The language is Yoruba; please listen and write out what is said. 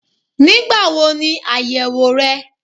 Nígbà wo ni áyèwò rẹ?